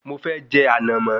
Mo fẹ́ je ànàmọ́